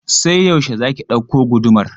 Sai yaushe za ki ɗauko gudumar?